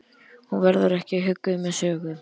Hún verður ekki hugguð með sögu.